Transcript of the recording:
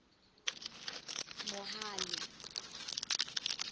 mohale